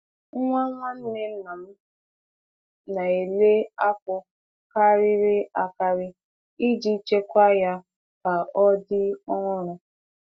Nwa nwanne nna m na-eli akpu karịrị akarị iji chekwaa ya ka ọ dị ọhụrụ.